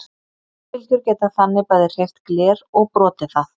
hljóðbylgjur geta þannig bæði hreyft gler og brotið það!